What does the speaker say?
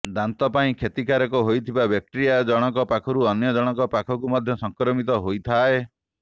ଦାନ୍ତ ପାଇଁ କ୍ଷତିକାରକ ହୋଇଥିବା ବ୍ୟାକ୍ଟେିଆ ଜଣଙ୍କ ପାଖରୁ ଅନ୍ୟ ଜଣଙ୍କ ପାଖକୁ ମଧ୍ୟ ସଂକ୍ରମିତ ହୋଇଥାଏ